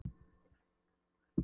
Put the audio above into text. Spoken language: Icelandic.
Við Dýrfirðingar héldum fund í gær.